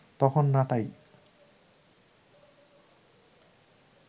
তখন নাটাই